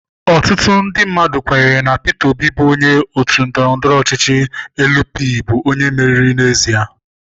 Ọtụtụ ndị mmadụ kwenyere na Peter Obi bụ onye otu ndọrọndọrọ ọchịchị Elu Pi bụ onye meriri n'ezie.